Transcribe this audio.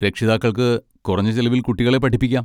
രക്ഷിതാക്കൾക്ക് കുറഞ്ഞ ചെലവിൽ കുട്ടികളെ പഠിപ്പിക്കാം.